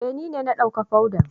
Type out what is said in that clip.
Eh, ni ne na dawka fodan.